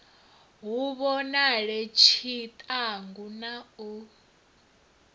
hu vhonale tshiṱangu na u